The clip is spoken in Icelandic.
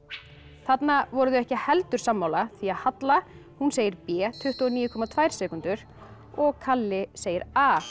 þarna voru þau ekki heldur sammála því Halla hún segir b tuttugu og níu komma tvær sekúndur og kalli segir a